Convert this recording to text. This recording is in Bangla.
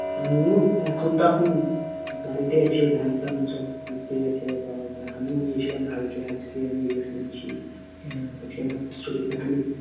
আমিই এখন তখন বাড়িতে আছি ধান ফান সব আমিও গিয়েছিলাম কালকে আজকে আমি rest নিচ্ছি আজকে আমার শরীরটা খানিক